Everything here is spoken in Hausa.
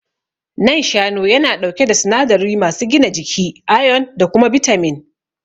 Nan shanu yana ɗauke da sinadari masu gina jiki, ayon da kuma bitamin.